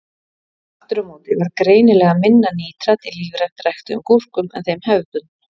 Aftur á móti var greinilega minna nítrat í lífrænt ræktuðum gúrkum en þeim hefðbundnu.